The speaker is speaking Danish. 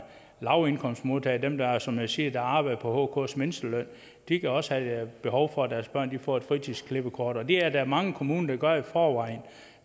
lavindkomstmodtagere dem der som jeg siger arbejder på hks mindsteløn de kan også have behov for at deres børn får et fritidsklippekort og det er der mange kommuner der gør i forvejen